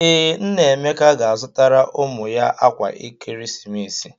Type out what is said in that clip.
Ee, nna Emeka ga-azụtara ụmụ ya akwa ekeresimesi.